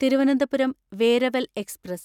Thiruvananthapuram Veraval express